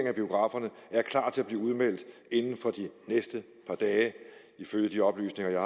af biograferne er klar til at blive udmeldt inden for det næste par dage ifølge de oplysninger jeg